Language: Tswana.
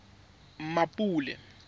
mmapule